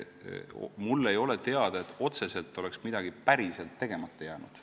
Mulle ei ole teada, et otseselt oleks midagi päris tegemata jäänud.